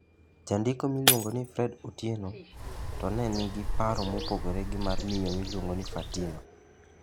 Jandiko miluongo ni Fred Otienoe to nigi paro mopogore gi mar miyo miluongo ni Fatima